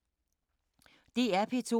DR P2